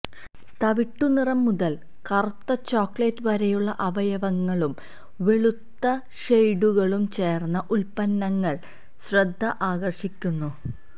തവിട്ടുനിറം മുതൽ കറുത്ത ചോക്ലേറ്റ് വരെയുള്ള അവയവങ്ങളും വെളുത്ത ഷെയ്ഡുകളും ചേർന്ന ഉൽപ്പന്നങ്ങൾ ശ്രദ്ധ ആകർഷിക്കുന്നു